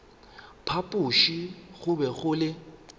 phapoši go be go le